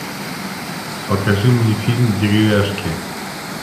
покажи мне фильм деревяшки